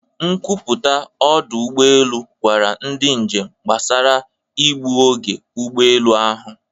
Nkwupụta ọdụ ụgbọ elu gwara ndị njem gbasara igbu oge ụgbọ elu ahụ.